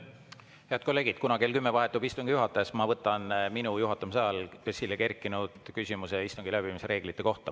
Head kolleegid, kuna kell 22 vahetub istungi juhataja, siis ma võtan minu juhatamise ajal esile kerkinud küsimuse istungi läbiviimise reeglite kohta.